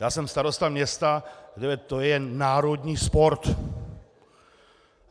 Já jsem starosta města, kde to je národní sport.